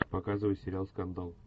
показывай сериал скандал